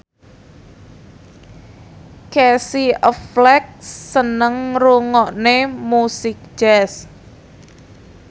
Casey Affleck seneng ngrungokne musik jazz